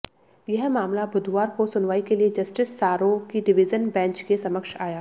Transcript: यह मामला बुधवार को सुनवाई के लिए जस्टिस सारों की डिवीजन बेंच के समक्ष आया